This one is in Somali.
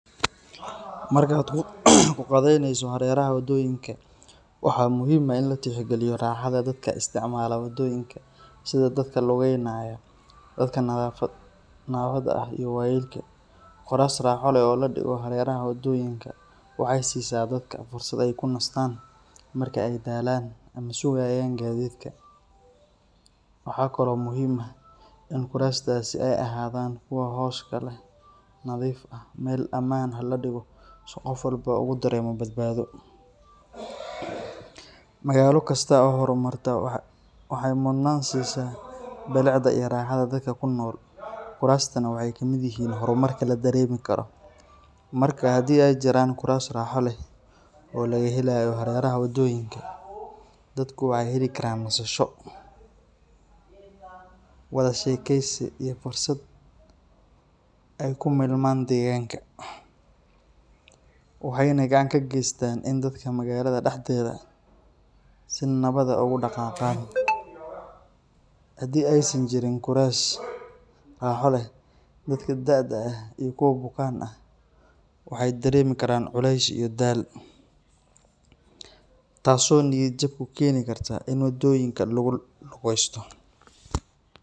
Markaad kuqadayneyso hareeraha wadooyinka, waxaa muhiim ah in la tixgeliyo raaxada dadka isticmaala wadooyinka sida dadka lugaynaya, dadka naafada ah iyo waayeelka. Kuraas raaxo leh oo la dhigo hareeraha wadooyinka waxay siisaa dadka fursad ay ku nastaan marka ay daalaan ama sugayaan gaadiidka. Waxaa kaloo muhiim ah in kuraastaasi ay ahaadaan kuwo hooska leh, nadiif ah, meel ammaan ahna la dhigo si qof walba ugu dareemo badbaado. Magaalo kasta oo horumartay waxay mudnaan siisaa bilicda iyo raaxada dadka ku nool, kuraastaana waxay ka mid yihiin horumarka la dareemi karo. Marka haddii ay jiraan kuraas raaxo leh oo laga helayo hareeraha wadooyinka, dadku waxay heli karaan nasasho, wada sheekeysi iyo fursad ay ku milmaan deegaanka. Kuraastaas waxay sidoo kale dhiirrigelinayaan socodka iyo caafimaadka, waxayna gacan ka geystaan in dadka magaalada dhexdeeda si nabad ah ugu dhaqaaqaan. Haddii aysan jirin kuraas raaxo leh, dadka da'da ah iyo kuwa bukaan ah waxay dareemi karaan culays iyo daal, taasoo niyad-jab ku keeni karta in wadooyinka lagu lugaysto.